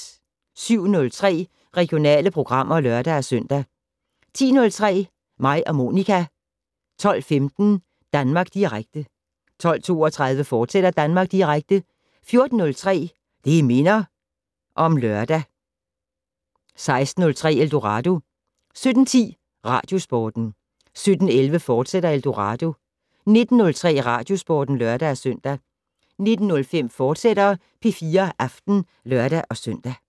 07:03: Regionale programmer (lør-søn) 10:03: Mig og Monica 12:15: Danmark Direkte 12:32: Danmark Direkte, fortsat 14:03: Det' Minder om Lørdag 16:03: Eldorado 17:10: Radiosporten 17:11: Eldorado, fortsat 19:03: Radiosporten (lør-søn) 19:05: P4 Aften, fortsat (lør-søn)